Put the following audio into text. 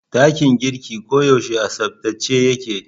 Dakin girkin ko yaushe a tsabtace yake